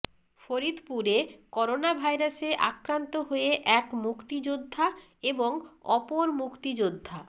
ফরিদপুরে করোনাভাইরাসে আক্রান্ত হয়ে এক মুক্তিযোদ্ধা এবং অপর মুক্তিযোদ্ধা